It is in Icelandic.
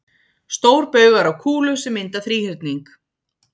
Stórbaugar á kúlu sem mynda þríhyrning.